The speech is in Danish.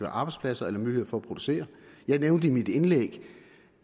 arbejdspladser eller mulighed for at producere jeg nævnte i mit indlæg